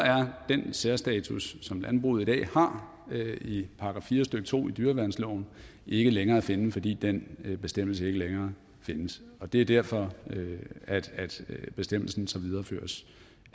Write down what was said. er den særstatus som landbruget i dag har i § fire stykke to i dyreværnsloven ikke længere gældende fordi den bestemmelse ikke længere findes og det er derfor at bestemmelsen så videreføres